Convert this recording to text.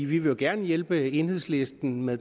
vi vil jo gerne hjælpe enhedslisten med at